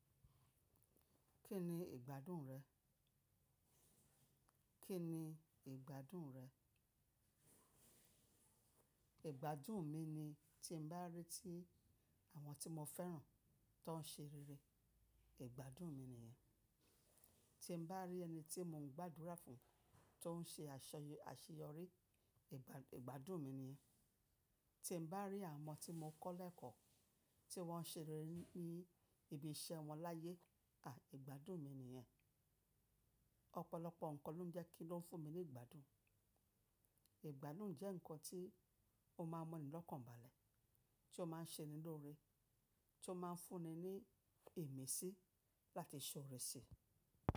Kí ni ìgbádùn rẹ̀? Kí ni ìgbádùn rẹ̀? Ìgbádùn mi ni tí n bá rantí àwọn tí mo fẹ́ràn tó ń ṣe rere, ìgbádùn mi nìyẹn. Tí n bá rí ẹni tí mò ń gbàdúrà fún tó ń ṣe àṣeyọrí, ìgbàdùn mi nìyẹn. Tí n bá rí àwọn ọmọ tí mo kọ́ lẹ́ẹ̀kọ́ tí wọ́n ń ṣe rere ní ibi iṣẹ́ wọn láyé, à ìgbádùn mi nìyẹn. Ọ̀pọ̀lọpọ̀ nǹkan ló ń jẹ́ kí lọ́n fún mi ní ìgbádùn. Ìgbádùn jẹ́ nǹkan tí ó máa ń mu ni lọ́kàn bàlẹ̀, tí ó máa ń ṣe ni lórí, tí ó máa ń fún ni ní ìmísí láti ṣòre si.